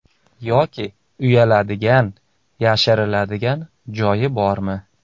Yoki uyaladigan, yashiriladigan joyi bormi?